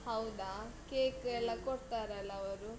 ಹೌದಾ? cake ಎಲ್ಲ ಕೊಡ್ತರಲ್ಲ ಅವರು.